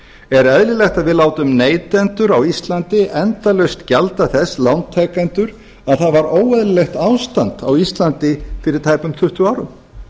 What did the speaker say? er eðlilegt að við látum neytendur á íslandi endalaust gjalda þess lántakendur að það var óeðlilegt ástand á íslandi fyrir tæpum tuttugu árum